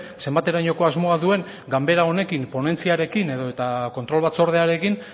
zenbaterainoko asmoa duen ganbera honekin ponentziarekin edo eta kontrol batzordearekin